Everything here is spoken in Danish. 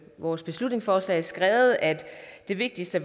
vores beslutningsforslag skrevet at det vigtigste